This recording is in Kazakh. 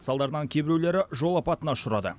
салдарынан кейбіреулері жол апатына ұшырады